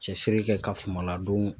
Cɛsiri kɛ ka suman ladon